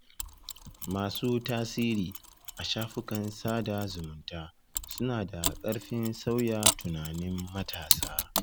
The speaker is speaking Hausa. Masu tasiri a shafukan sada zumunta suna da ƙarfin sauya tunanin matasa.